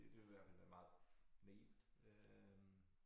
Det det ville hvert fald være meget naivt øh